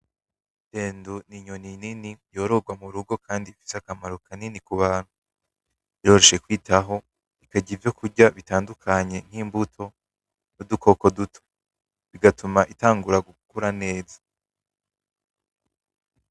Idendo ni inyoni nini yororwa mu rugo kandi ifise akamaro kanini ku bantu. Iroroshe kwitaho, ikarya ivyokurya bitandukanye nk'imbuto n'udukoko duto, bigatuma itangura gukura neza.